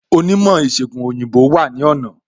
Onímò ìsègùn òyìnbó wà ní ọ̀nà